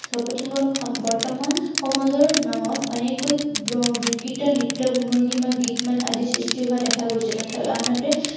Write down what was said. বাপুতি সাহোন, বৰ্তমান সমাজৰ নামত এনেকৈ বিকৃত নৃত্য় ভংগীমা, গীত-মাত আদিও সৃষ্টি হোৱা দেখা গৈছে। তথাপি আনহাতে,